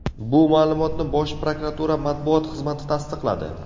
Bu ma’lumotni Bosh prokuratura matbuot xizmati tasdiqladi.